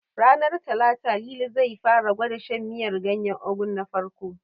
Ranar Talata, Lili zai fara gwada shan miyar ganyen Ugu na farko.